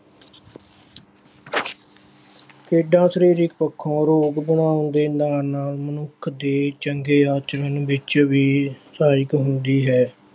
ਖੇਡਾਂ ਸਰੀਰਕ ਪੱਖੋਂ ਆਰੋਗ ਬਣਾਉਣ ਦੇ ਨਾਲ ਨਾਲ ਮਨੁੱਖ ਦੇ ਚੰਗੇ ਆਚਰਣ ਵਿੱਚ ਵੀ ਸਹਾਇਕ ਹੁੰਦੀ ਹੈ।